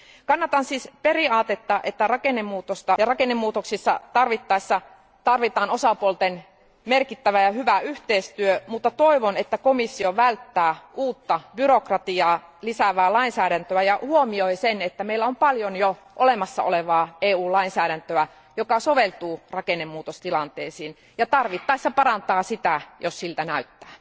Kannatan siis periaatetta, että rakennemuutoksissa tarvittaessa tarvitaan osapuolten merkittävää ja hyvää yhteistyötä, mutta toivon, että komissio välttää uutta byrokratiaa lisäävää lainsäädäntöä ja huomioi sen, että meillä on paljon jo olemassa olevaa EU lainsäädäntöä, joka soveltuu rakennemuutostilanteisiin ja tarvittaessa parantaa sitä, jos siltä näyttää.